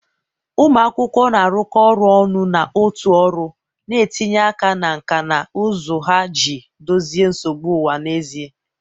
ụmụ akwụkwọ na-arụkọ ọrụ ọnụ na otu ọrụ, na-etinye aka na nkà na ụzụ ha iji dozie nsogbu ụwa n'ezie.